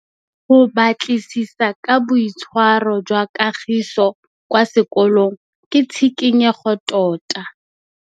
Go batlisisa ka boitshwaro jwa Kagiso kwa sekolong ke tshikinyêgô tota.